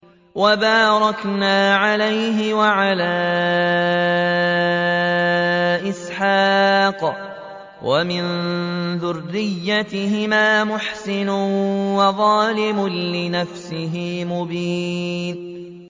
وَبَارَكْنَا عَلَيْهِ وَعَلَىٰ إِسْحَاقَ ۚ وَمِن ذُرِّيَّتِهِمَا مُحْسِنٌ وَظَالِمٌ لِّنَفْسِهِ مُبِينٌ